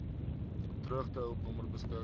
droogtehulp nommer beskik